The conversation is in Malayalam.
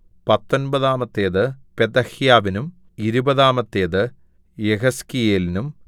പത്തൊമ്പതാമത്തേത് പെതഹ്യാവിനും ഇരുപതാമത്തേത് യെഹെസ്കേലിനും